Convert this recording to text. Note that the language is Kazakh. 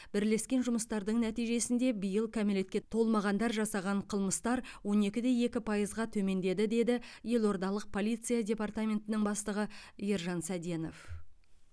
бірлескен жұмыстардың нәтижесінде биыл кәмелетке толмағандар жасаған қылмыстар он екі де екі пайызға төмендеді деді елордалық полиция департаментінің бастығы ержан сәденов